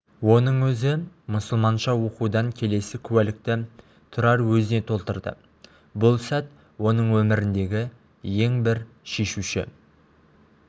оның өзі мұсылманша оқудан келесі куәлікті тұрар өзіне толтырды бұл сәт оның өміріндегі ең бір шешуші